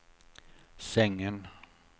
sängen